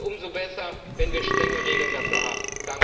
Umso besser, wenn wir strenge Regeln dafür haben!